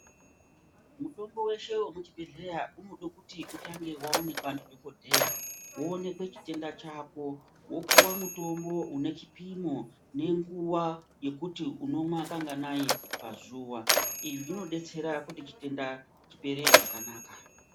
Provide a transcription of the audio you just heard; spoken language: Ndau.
Mutombo veshe vemuzvibhedhleya unodekuti utange vaonekwa ndidhogodheya. Voonekwe chitenda chako vopuva mutombo unechipimo nenguva yekuti unomwa kanganai pazuva. Izvi zvinobetsera kuti chitenda chipere zvakanaka.